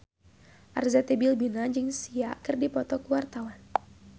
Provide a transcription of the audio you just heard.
Arzetti Bilbina jeung Sia keur dipoto ku wartawan